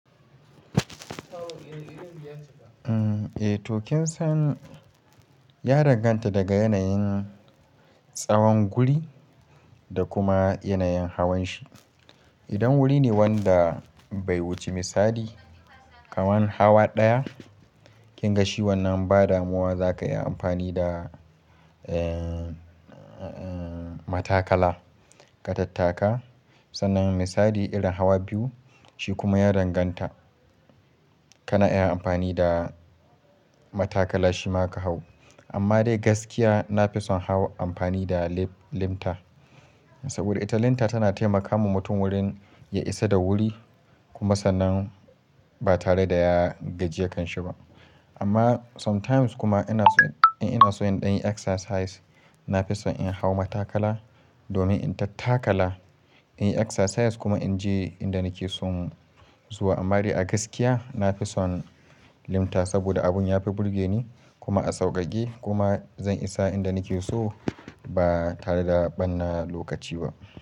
Eh to kin san ya danganta daga yanayin tsawon guri da kuma yanayin hawan shi. Idan wuri ne wanda bai wuce misali kaman hawa ɗaya, kin ga shi wannan ba damuwa zaka iya amfani da, eh, eh, matakala ka tattaka. Sannan misali irin hawa biyu, shi kuma ya danganta. Kana iya amfani da matakala shima ka hau. Amma dai gaskiya nafi son hau amfani da limp-limta. Saboda ita limta tana taimakawa mutum wurin ya isa da wuri kuma sannan ba tare da ya gajiya kanshi ba. Amma sometimes kuma ina so, in ina so in ɗan yi exercise nafi son in hau matakala domin in tattakala, in yi exercise kuma in je inda nake son zuwa. Amma dai a gaskiya na fi son limta saboda abun ya fi burge ni kuma a sauƙaƙe kuma zan isa inda nake so ba tare da ɓanna lokaci ba.